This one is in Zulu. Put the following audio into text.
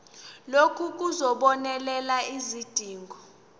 lokhu kuzobonelela izidingo